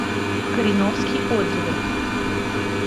кореновский отзывы